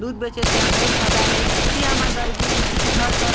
दूध बेचे से हमन ल ए फ़ायदा हे की हमर गरीबी स्तिथि घर का--